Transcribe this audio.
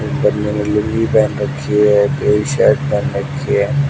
एक बंदे ले लूंगी पहेन रखी है शर्ट पहन रखी है